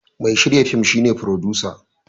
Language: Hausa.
Mai shirya fin shi ne furodusa.